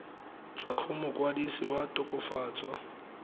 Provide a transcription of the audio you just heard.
tswa go mokwadise wa tokafatso